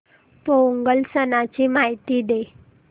पोंगल सणाची माहिती दे